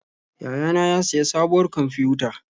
Yayana ya siya sabuwar kwamfiyuta.